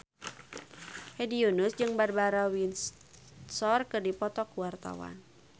Hedi Yunus jeung Barbara Windsor keur dipoto ku wartawan